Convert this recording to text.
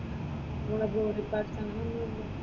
നമ്മുടെ ജോലി പാർട്ടിൽ അങ്ങനെ ഒന്നും ഇല്ലാലോ?